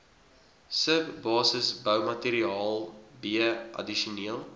subbasisboumateriaal b addisionele